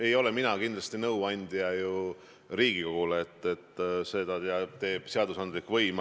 Ei ole mina kindlasti nõuandja Riigikogule, seda teeb seadusandlik võim.